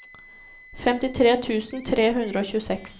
femtitre tusen tre hundre og tjueseks